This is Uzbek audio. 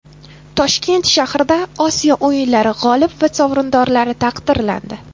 Toshkent shahrida Osiyo o‘yinlari g‘olib va sovrindorlari taqdirlandi.